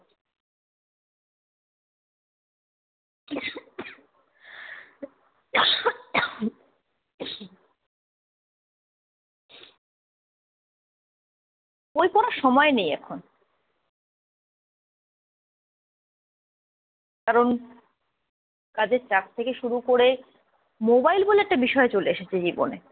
বই পড়ার সময় নেই এখন। কারণ কাজের চাপ থেকে শুরু করে মোবাইল বলে একটা বিষয় চলে এসেছে জীবনে।